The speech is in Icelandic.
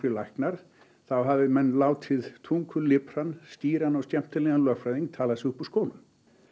læknar þá hafi menn látið skýran og skemmtilegan lögfræðing tala sig upp úr skónum